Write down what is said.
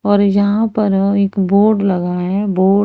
और यहां पर एक बोर्ड लगा है बोर्ड --